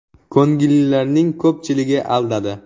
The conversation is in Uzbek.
Ko‘ngillilarning ko‘pchiligi aldadi.